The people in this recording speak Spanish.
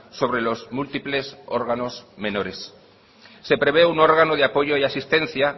sobre los múltiples órganos menores se prevé un órgano de apoyo y asistencia